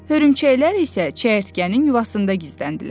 Hörümçəklər isə çəyirtkənin yuvasında gizləndilər.